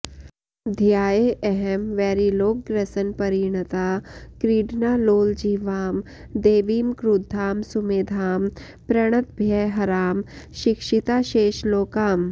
ध्यायेऽहं वैरिलोकग्रसनपरिणता क्रीडनालोलजिह्वां देवीं क्रुद्धां सुमेधां प्रणतभयहरां शिक्षिताशेषलोकाम्